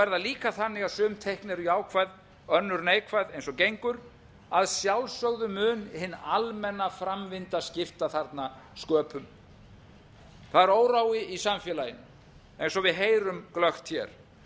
er það líka þannig að sum teikn eru jákvæð önnur neikvæð eins og gengur að sjálfsögðu mun hin almenna framvinda skipta þarna sköpum það er órói í samfélaginu eins og við heyrum glöggt hér